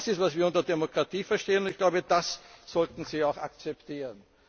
Das ist, was wir unter Demokratie verstehen. Und ich glaube, das sollten Sie auch akzeptieren.